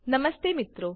નમસ્તે મિત્રો